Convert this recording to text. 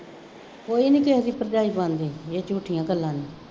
ਕੋਈ ਨਹੀਂ ਕਿਸੇ ਦੀ ਭਰਜਾਈ ਬਣਦੀ, ਇਹ ਝੂਠੀਆਂ ਗੱਲਾਂ ਨੇ,